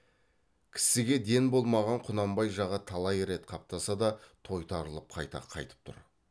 кісіге ден болмаған құнанбай жағы талай рет қаптаса да тойтарылып қайта қайтып тұр